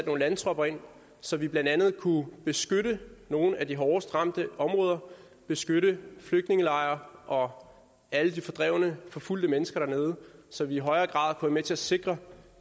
nogle landtropper ind så vi blandt andet kunne beskytte nogle af de hårdest ramte områder beskytte flygtningelejre og alle de fordrevne og forfulgte mennesker dernede så vi i højere grad kunne være med til at sikre